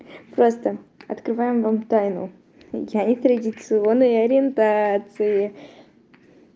просто открываем вам тайну я нетрадиционной ориентации